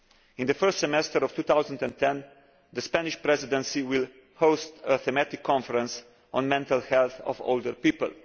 In the first semester of 2010, the Spanish Presidency will host a thematic conference on the mental health of older people.